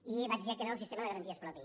i vaig directament al sistema de garanties propi